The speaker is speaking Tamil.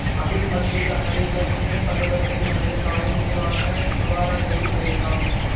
அபிமன்யு தனது இளமைப்பருவத்தைத் தனது தாயின் ஊரான துவாரகையில் கழித்தான்